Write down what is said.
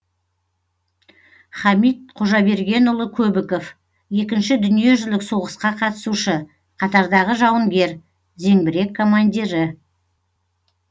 хамит қожабергенұлы көбіков екінші дүниежүзілік соғысқа қатысушы қатардағы жауынгер зеңбірек командирі